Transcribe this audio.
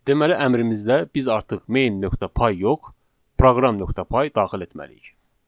Deməli əmrimizdə biz artıq main.py yox, proqram.py daxil etməliyik.